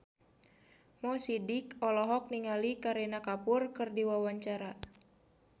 Mo Sidik olohok ningali Kareena Kapoor keur diwawancara